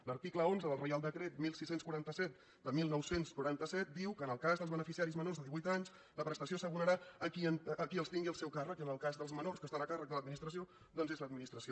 l’article onze del reial decret setze quaranta set de dinou noranta set diu que en el cas dels beneficiaris menors de divuit anys la prestació s’abonarà a qui els tingui al seu càrrec i en el cas dels menors que estan a càrrec de l’administració doncs és l’administració